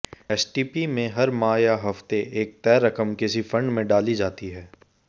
STP में हर माह या हफ्ते एक तय रकम किसी फंड में डाली जाती है